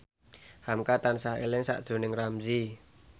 hamka tansah eling sakjroning Ramzy